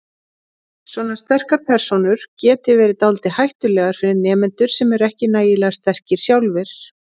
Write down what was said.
Svona sterkar persónur geti verið dálítið hættulegar fyrir nemendur sem ekki eru nægilega sterkir sjálfir.